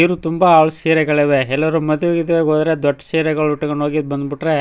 ಬೀರು ತುಂಬಾ ಸೀರೆಗಳವೆ ಎಲ್ಲರು ಮದ್ವೆ ಗಿದ್ವೆ ಗೆ ಹೋದ್ರೆ ದೊಡ್ಡ್ ಸೀರೆಗಳು ಉಟ್ಟ ಕೊಂಡ್ ಹೋಗಿ ಬಂದ್ ಬಿಟ್ರೆ --